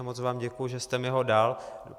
A moc vám děkuju, že jste mi ho dal.